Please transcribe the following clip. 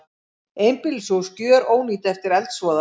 Einbýlishús gjörónýtt eftir eldsvoða